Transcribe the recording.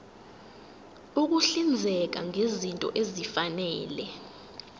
ukuhlinzeka ngezinto ezifanele